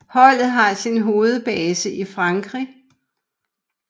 Holdet har sin hovedbase i Frankrig